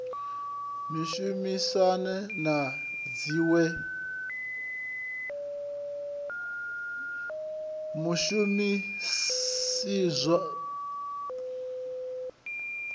u shumiseswa ha dzin we